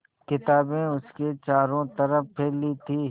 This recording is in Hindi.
किताबें उसके चारों तरफ़ फैली थीं